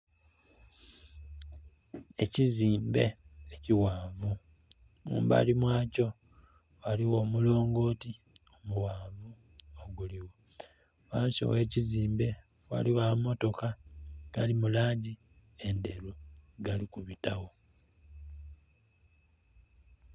Ekizimbe ekighanvu mumbali mwa kyo ghaligho omulongoti omughanvu oguligho. Ghansi owekizimbe ghaligho amamotoka agali mu langi endheru agali kubitawo.